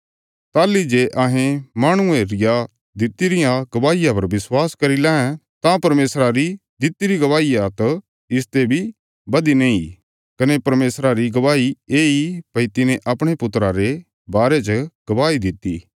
ताहली जे अहें माहणुये रिया दित्ति रिया गवाहिया पर विश्वास करी लैं तां परमेशरा री दितिरी गवाही त इसते बी बधीने इ कने परमेशरा री गवाही येई भई तिने अपणे पुत्रा रे बारे च गवाही दित्ति